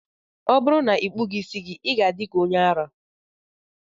Ọ bụrụ na ị kpụghị isi gị, ị ga-adị ka onye ara